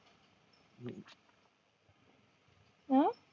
हम्म